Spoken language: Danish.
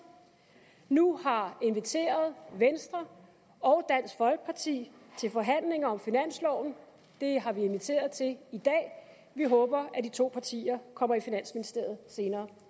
nu har inviteret venstre og dansk folkeparti til forhandlinger om finansloven det har vi inviteret til i dag vi håber at de to partier kommer i finansministeriet senere